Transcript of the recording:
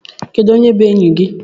Kedu onye bu enyi gi?